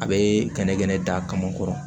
A bɛ kɛnɛkɛnɛ da kama kɔrɔ